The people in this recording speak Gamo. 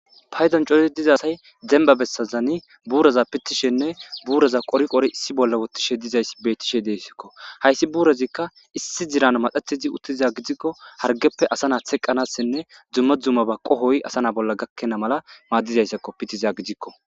Payton coli diza say demba bessazani buuraza pitthishenne buuraza qori qori issi bolla wottishe dizayssi bettishe deessikko .Hayssi buurezikka issi ziran madathizi uttiza gidikko hargeppe asa na theqqanassenne dzumma dzuma ba qohoy asa na bolla gakkena mala maaddizayssakko pitiza gidikko.